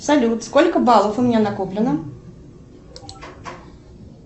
салют сколько баллов у меня накоплено